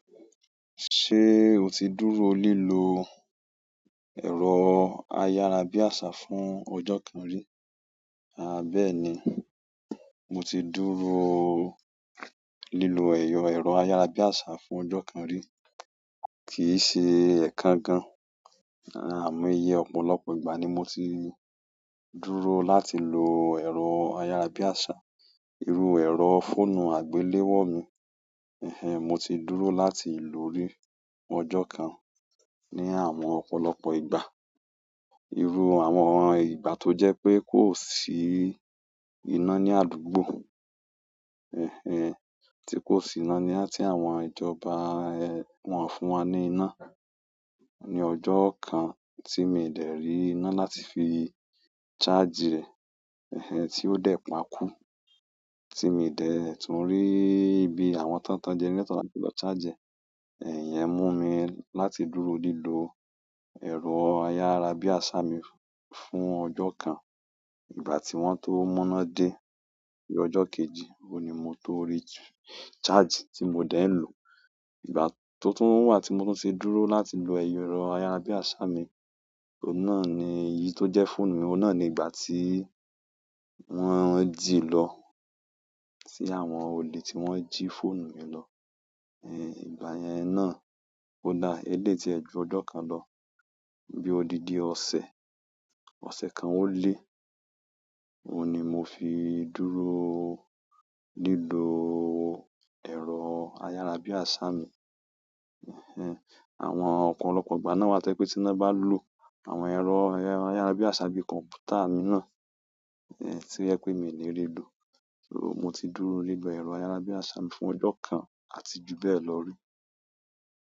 Ṣé o ti dúró lílò ẹ̀rọ ayárabíàṣá fún ọjọ́ kan rí? Àbẹ́ẹ́ni, mo ti dúró lilo eyo arayabiasa fún ojo kan ri ki se ekan gan amo ọ̀pọ̀lọpọ̀ ìgbà ni mo ti dúró láti lo ero arayabiasa. Irú ẹ̀rọ fóònù àgbéléwò mi, ẹ̀hen, mo ti dúró láti lò ó rí ọjọ́ kan ní àwọn ọ̀pọ̀lọpọ̀ ìgbà. Irú àwọn ìgbà tó jẹ́ pé kò sí iná ní àdúgbò, tí kò sí iná ní àti àwọn ìjọba wọ́n fún wa ní iná. Ni ọjọ́ kan tí mi ò tẹ̀ rí iná láti fi ṣáàjì rẹ̀, tí ó dẹ̀ pa kú. Tí mi ò dẹ̀ tún rí ibi àwọn tán tán jẹ́nẹ́ràtọ̀ láti lọ ṣáàjì ẹ̀, iyen mú mi láti dúró lílò ẹ̀rọ ayárabíàṣá mi fún ọjọ́ kan. Ìgbà tí wọ́n tó múná dé, bí ọjọ́ kejì, òní mo tó rí ṣáàjì tí mo dẹ̀ ń lò. Ìgbà tó tún wà tí mo tún ti dúró láti lò ẹ̀yọ̀ ẹ̀rọ ayárabíàṣá mi, òun náà ni èyí tó jẹ́ fóònù mi, òun náà ni ìgbà tí wọ́n jí i lọ. Sí àwọn olè tí wọ́n jí fóònù mi lọ. Ìgbà yẹn náà ó dá eléétì ẹjọ ọjọ́ kan lọ. Bí ó di di ọ̀sẹ̀, ọ̀sẹ̀ kan ó lé, òní mo fi dúró lílò ẹ̀rọ ayárabíàṣá mi. Ẹ̀hen, àwọn ọ̀pọ̀lọpọ̀ ìgbà náà wá tẹ́ pé tí iná bá lọ, àwọn ẹ̀rọ ayárabíàṣá bí kọ̀m̀pútà mi náà, ẹ̀, tí yẹ pé mi ò lè rí lò. So mo ti dúró lílò ẹ̀rọ ayárabíàṣá fún ọjọ́ kan àti ju bẹ́ẹ̀ lọ rí.